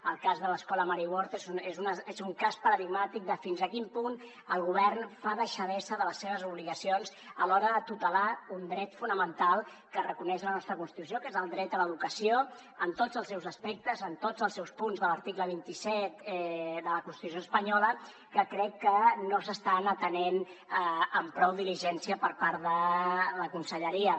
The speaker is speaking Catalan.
el cas de l’escola mary ward és un cas paradigmàtic de fins a quin punt el govern fa deixadesa de les seves obligacions a l’hora de tutelar un dret fonamental que reconeix la nostra constitució que és el dret a l’educació en tots els seus aspectes en tots els seus punts de l’article vint set de la constitució espanyola que crec que no s’estan atenent amb prou diligència per part de la conselleria